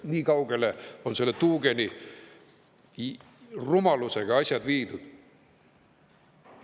Nii kaugele on selle tuugenirumalusega asjad viidud.